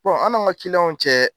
Bɔn anw n'an ka kiliyanw cɛ